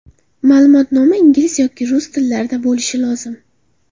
Ma’lumotnoma ingliz yoki rus tillarida bo‘lishi lozim.